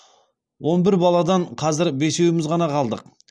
он бір баладан қазір бесеуіміз ғана қалдық